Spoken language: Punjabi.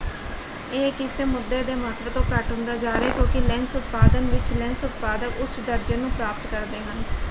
ਇਹ ਕਿਸੇ ਮੁੱਦੇ ਦੇ ਮਹੱਤਵ ਤੋਂ ਘੱਟ ਹੁੰਦਾ ਜਾ ਰਿਹਾ ਹੈ ਕਿਉਂਕਿ ਲੈਂਸ ਉਤਪਾਦਨ ਵਿੱਚ ਲੈਂਸ ਉਤਪਾਦਕ ਉੱਚ ਦਰਜੇ ਨੂੰ ਪ੍ਰਾਪਤ ਕਰਦੇ ਹਨ।